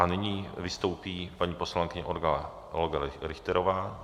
A nyní vystoupí paní poslankyně Olga Richterová.